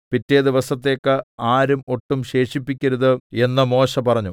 പിറ്റേ ദിവസത്തേക്ക് ആരും ഒട്ടും ശേഷിപ്പിക്കരുത് എന്ന് മോശെ പറഞ്ഞു